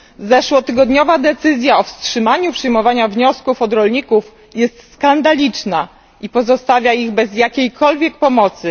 Zeszłotygodniowa decyzja o wstrzymaniu przyjmowania wniosków od rolników jest skandaliczna i pozostawia ich bez jakiejkolwiek pomocy.